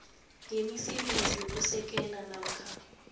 yemisebenzi yokusekela namkha